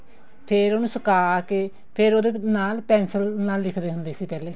ਫ਼ੇਰ ਉਹਨੂੰ ਸੁਕਾ ਕੇ ਫ਼ੇਰ ਉਹਦੇ ਨਾਲ ਪੇੰਸਲ ਨਾਲ ਲਿਖਦੇ ਹੁੰਦੇ ਸੀ ਪਹਿਲੇ